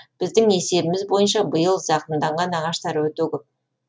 біздің есебіміз бойынша биыл зақымданған ағаштар өте көп